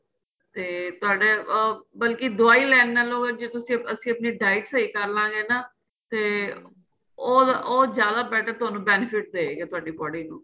ਤੇ ਤੁਹਾਡਾ ਅਹ ਬਲਕਿ ਦਵਾਈ ਲੈਣ ਨਾਲ ਨਾਲੋ ਜੇ ਤੁਸੀਂ ਅਸੀਂ ਆਪਣੀ diet ਸਹੀਂ ਕਰਲਾਗੇ ਨਾ ਤੇ ਉਹ ਉਹ ਜਿਆਦਾ better ਤੁਹਾਨੂੰ benefit ਦਏਗਾ ਤੁਹਾਡੀ body ਨੂੰ